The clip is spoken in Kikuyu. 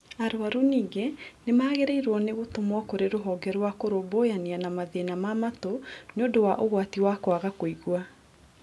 Arwaru ningĩ nĩ magĩrĩirwo nĩ gũtũmwo kũrĩ rũhonge rwa kũrũmbũyania na mathĩna ma matũ nĩũndũ wa ũgwati wa kwaga kũigua